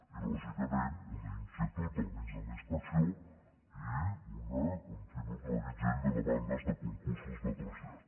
i lògicament una inquietud al mig hi ha una inspecció i un reguitzell de demandes de concursos de trasllat